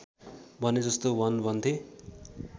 भनेजस्तो भन भन्थे